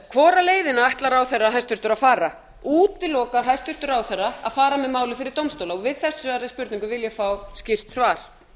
hvora leiðina ætlar ráðherra hæstvirtur að fara útilokar hæstvirtur ráðherra að fara með málið fyrir dómstóla við þessari spurningu vil ég fá skýrt svar